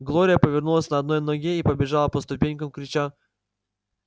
глория повернулась на одной ноге и побежала по ступенькам крича